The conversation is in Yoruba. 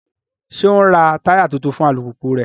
Ṣe o n rá taya tuntun fún alupupu rẹ?